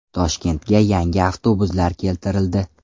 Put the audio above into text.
Toshkentga yangi avtobuslar keltirildi.